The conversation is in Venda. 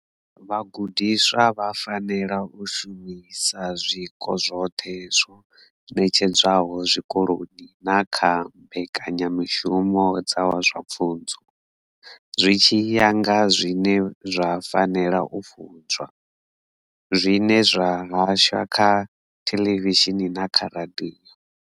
Vhagudiswa vha fanela u shumisa zwiko zwoṱhe zwo ṋetshedzwaho zwikoloni na kha mbekenyamushumo dza zwa pfunzo, zwi tshi ya nga zwine zwa fanela u funzwa, zwine zwa hashwa kha theḽevishini na kha radio.